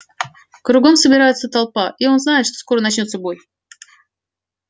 кругом собирается толпа и он знает что скоро начнётся бой